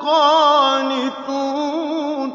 قَانِتُونَ